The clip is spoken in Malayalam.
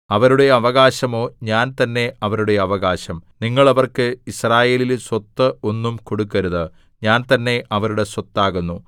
അവരുടെ അവകാശമോ ഞാൻ തന്നെ അവരുടെ അവകാശം നിങ്ങൾ അവർക്ക് യിസ്രായേലിൽ സ്വത്ത് ഒന്നും കൊടുക്കരുത് ഞാൻ തന്നെ അവരുടെ സ്വത്താകുന്നു